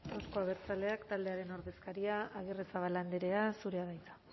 euzko abertzaleak taldeararen ordezkaria arrizabalaga andrea zurea da hitza